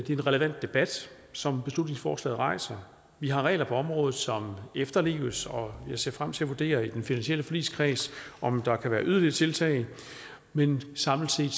en relevant debat som beslutningsforslaget rejser vi har regler på området som efterleves og jeg ser frem til at vurdere i den finansielle forligskreds om der kan være yderligere tiltag men samlet set